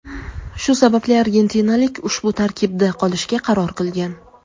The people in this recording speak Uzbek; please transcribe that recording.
shu sababli argentinalik ushbu tarkibda qolishga qaror qilgan.